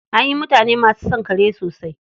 An yi mutane masu son kare sosai.